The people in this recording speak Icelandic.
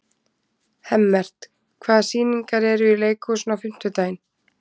Hemmert, hvaða sýningar eru í leikhúsinu á fimmtudaginn?